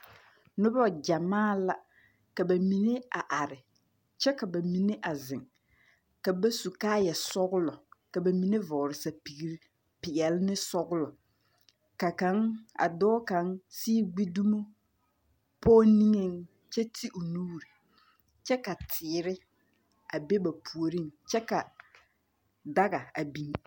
Noba gyamaa la. Ka ba mine are are, kyɛ ka ba mine a zeŋ. Ka ba su kaayɛ sɔglɔ. Ka ba mine vɔgele sapiiri peɛle ne sɔglɔ. Ka kaŋ a dɔɔ kaŋ sii gbi dumo pɔge niŋeŋ kyɛ ti o nuuri. Kyɛ ka teere a be ba puoriŋ, kyɛ ka daga a biŋ.